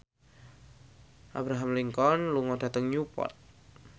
Abraham Lincoln lunga dhateng Newport